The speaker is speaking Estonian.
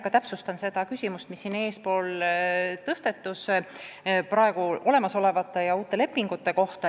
Ma hea meelega vastan küsimusele, mis siin just tõstatus.